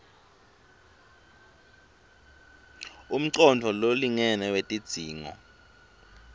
umcondvo lolingene wetidzingo